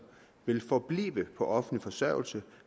ville forblive på offentlig forsørgelse